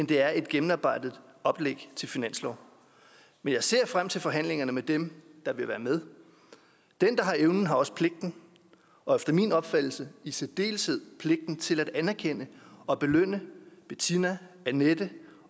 det er et gennemarbejdet oplæg til finanslov men jeg ser frem til forhandlingerne med dem der vil være med den der har evnen har også pligten og efter min opfattelse i særdeleshed pligten til at anerkende og belønne bettina annette